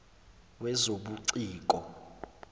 wezobuciko